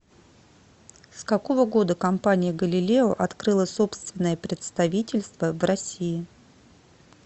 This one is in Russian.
с какого года компания галилео открыла собственное представительство в россии